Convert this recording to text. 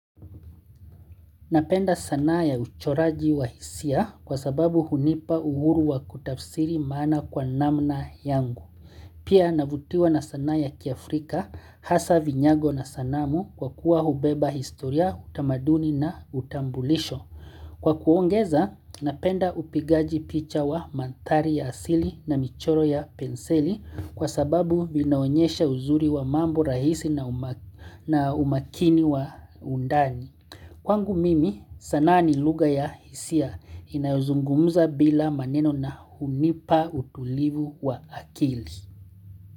Napenda sanaa ya uchoraji wa hisia kwa sababu hunipa uhuru wa kutafsiri maana kwa namna yangu. Pia navutiwa na sanaa ya kiafrika hasa vinyago na sanamu kwa kuwa hubeba historia utamaduni na utambulisho. Kwa kuongeza napenda upigaji picha wa manthari ya asili na michoro ya penseli kwa sababu vinaonyesha uzuri wa mambo rahisi na umakini wa undani. Kwangu mimi sanaa ni lugha ya hisia inayozungumuza bila maneno na hunipa utulivu wa akili.